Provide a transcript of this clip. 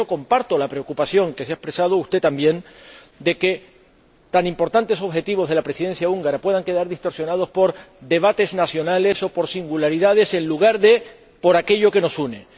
Por eso, comparto la preocupación que ha expresado usted también de que tan importantes objetivos de la Presidencia húngara puedan quedar distorsionados por debates nacionales o por singularidades en lugar de por aquello que nos une.